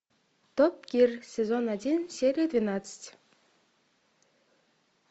топ гир сезон один серия двенадцать